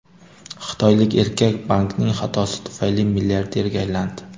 Xitoylik erkak bankning xatosi tufayli milliarderga aylandi.